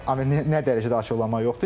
Yəni nə dərəcədə açıqlama yoxdur?